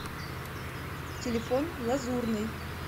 телефон лазурный